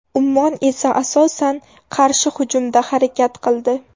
Ummon esa asosan qarshi hujumda harakat qildi.